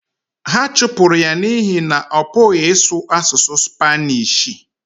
ha chụpụrụ ya n’ihi na ọ pụghị ịsụ asụsụ Spanishi